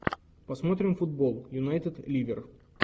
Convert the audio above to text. посмотрим футбол юнайтед ливер